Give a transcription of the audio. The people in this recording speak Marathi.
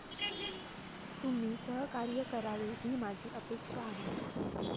तुम्ही सहकार्य करावे ही माझी अपेक्षा आहे.